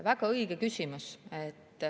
Väga õige küsimus.